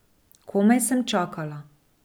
Komaj sem čakala.